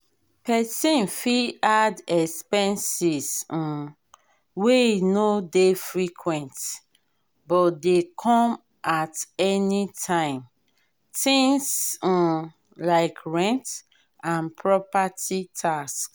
person fit add expenses um wey no dey frequent but dey come at anytime things um like rent and property tax